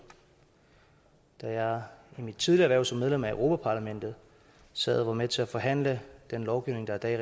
da jeg i mit tidligere hverv som medlem af europa parlamentet sad og var med til at forhandle den lovgivning der i dag